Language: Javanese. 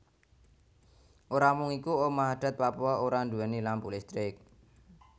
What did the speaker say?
Ora mung iku omah adat Papua ora duwéni lampu listrik